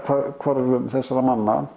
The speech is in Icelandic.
hvarfi þessara manna